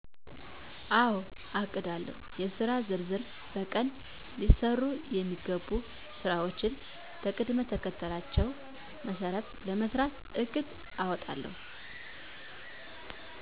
አዎ አቅዳለሁ :-የሥራ ዝርዝር በቀን ሊሠሩ የሚገቡ ሥራዎችን በቅደምተከተላቸው መሠረት ለመሥራት እቅድ አወጣለሁ።